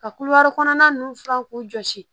Ka kulo kɔnɔna nunnu furan k'u jɔsi